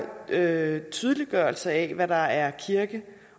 øget tydeliggørelse af hvad der er kirke